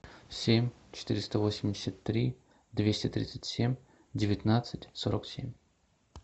семь четыреста восемьдесят три двести тридцать семь девятнадцать сорок семь